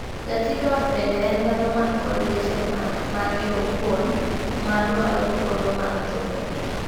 Jatij ot bende en dhano man kod weche ma mage owuon ma dwaro thuolo mar chopogi.